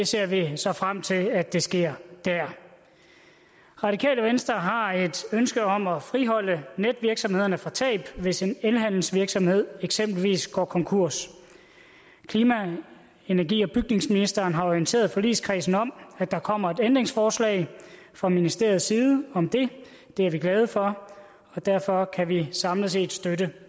ser så frem til at det sker der radikale venstre har et ønske om at friholde netvirksomhederne for tab hvis en elhandelsvirksomhed eksempelvis går konkurs klima energi og bygningsministeren har jo orienteret forligskredsen om at der kommer et ændringsforslag fra ministeriets side om det det er vi glade for derfor kan vi samlet set støtte